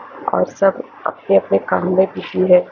और सब अपने अपने काम में बिजी हैं।